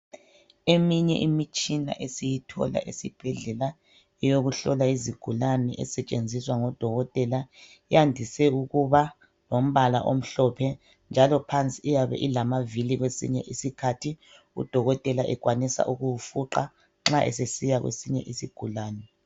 Eminye imitshina esiyothola esibhedlela eyokuhlola izigulane esetshenziswa ngodokotela iyandise ukuba lombala omhlophe njalo phansi iyabe ilamavili kwesinye isikhathi udokotela ekwanisa ukuwufuqa ma esesiya kwesinye isigulane.